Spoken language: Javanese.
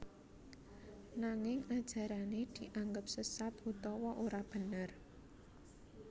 Nanging ajarané dianggep sesat utawa ora bener